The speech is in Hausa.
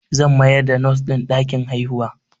Zan mayar da Nos ɗin ɗakin haihuwa